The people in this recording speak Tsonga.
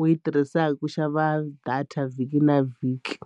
u yi tirhisaka ku xava data vhiki na vhiki.